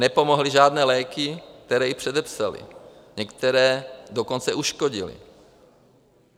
Nepomohly žádné léky, které jí předepsali, některé dokonce uškodily.